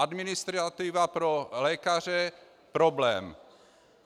Administrativa pro lékaře - problém.